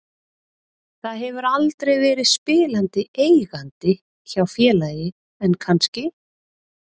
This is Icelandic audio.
Það hefur aldrei verið spilandi eigandi hjá félagi en kannski?